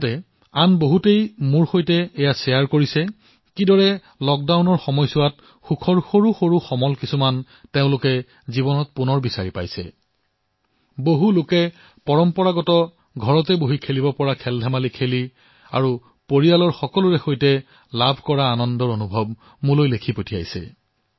আনহাতে কিছুমানে লকডাউনৰ সময়ছোৱাত সুখৰ কিদৰে সৰু সৰু ঘটনা পুনৰ আৱিষ্কাৰ কৰিছে সেয়াও মোক জনাইছে